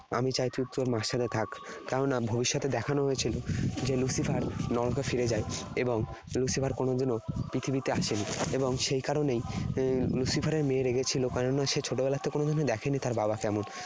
আমি চাই তুই তোর মার সাথে থাক।' কেননা ভবিষ্যতে দেখানো হয়েছিল যে Lucifer নরকে ফিরে যায় এবং Lucifer কোনোদিনও পৃথিবীতে আসেনি। এবং সেই কারণেই এর Lucifer এর মেয়ে রেগেছিল, কেননা সে ছোটবেলার থেকে দেখেনি তার বাবা কেমন